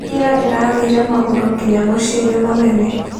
Ira ndĩrathire magũrũ nginya mũciĩ-inĩ mũnene